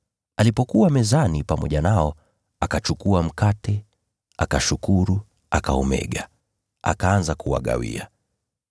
Alipokuwa mezani pamoja nao, akachukua mkate, akashukuru, akaumega, akaanza kuwagawia.